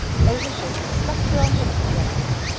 Eyhildur, slökktu á niðurteljaranum.